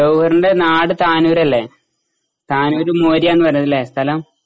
ജൌഹറിന്റെ നാട് താനൂരല്ലെ? താനൂര് മൌര്യ പറേന്ന അല്ലേ സ്ഥലം ?